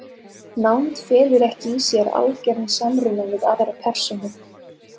Nánd felur ekki í sér algeran samruna við aðra persónu.